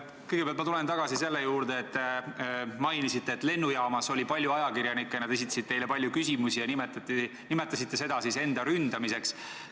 Kõigepealt tulen ma tagasi selle juurde, kui te mainisite, et lennujaamas oli palju ajakirjanikke, nad esitasid teile palju küsimusi, ja te nimetasite seda enda ründamiseks.